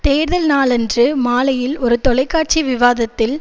தேர்தல் நாளன்று மாலையில் ஒரு தொலைக்காட்சி விவாத்த்தில்